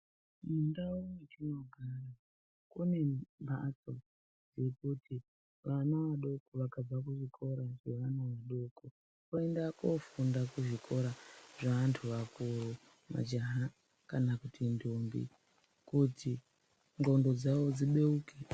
Mundau yetinogara kune mphatso yekuti vana vadoko vakabva kuchikora zveana adoko, voenda koofunda kuzvikora zveanthu akuru. Majaha kana kuti ndombi kuti ngqondo dzavo dzibeuke.